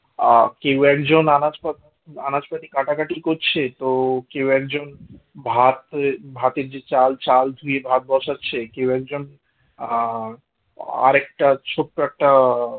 আ কেউ একজন আনাচপত্র আনাজ পাতি কাটাকাটি করছে তো কেউ একজন ভাতে ভাতের যে চাল চাল ধুয়ে ভাত বসাচ্ছে আ কেউ একজন আ আর একটা ছোট্ট একটা